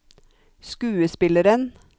skuespilleren